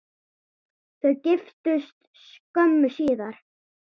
Þau giftust skömmu síðar.